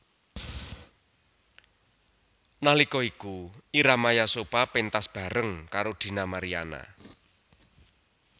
Nalika iku Ira Maya Sopha péntas bareng karo Dina Mariana